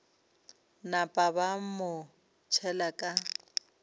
napa ba mo tšhela ka